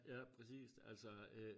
Ja præcis altså øh